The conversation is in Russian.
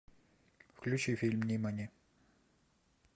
включи фильм нимани